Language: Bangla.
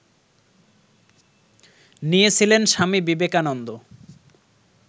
নিয়েছিলেন স্বামী বিবেকানন্দ